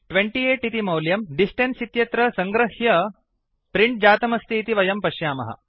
28 इति मौल्यं डिस्टेन्स इत्यत्र सङ्गृह्य प्रिंट् जातमस्ति इति वयं पश्यामः